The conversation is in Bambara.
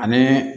Ani